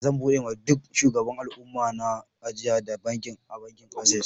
Zan buɗe ma duk shugaban alumma na ajia da banki a bankin access.